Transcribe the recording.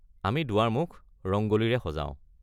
আমি দুৱাৰমুখ ৰংগ'লীৰে সজাও।